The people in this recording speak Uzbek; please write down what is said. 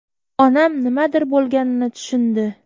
Onam nimadir bo‘lganini tushundi.